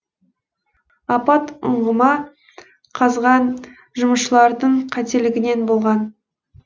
апат ұңғыма қазған жұмысшылардың қателігінен болған